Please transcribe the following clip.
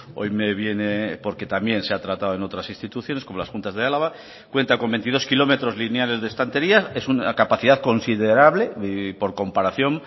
hoy me viene porque también se ha tratado en otras instituciones como las juntas de álava cuenta con veintidós kilómetros lineales de estanterías es una capacidad considerable por comparación